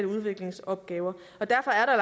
udviklingsopgaver og derfor er der